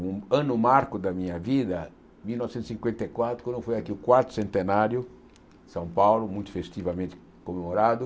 Um ano marco da minha vida, mil novecentos e cinquenta e quatro, quando foi aqui o quarto centenário de São Paulo, muito festivamente comemorado.